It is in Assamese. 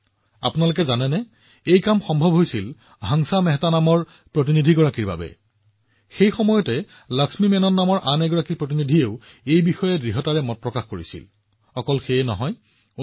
আপুনি জানেনে যে শ্ৰীমতী হংসা মেহতা প্ৰতিনিধি আছিল যিয়ে এইটো সম্ভৱ কৰি তুলিছিল একে সময়তে আন এগৰাকী প্ৰতিনিধি শ্ৰীমতী লক্ষ্মী মেননে লিংগ সমতাৰ বিশয়ে দৃঢ়ভাৱে কথা পাতিছিল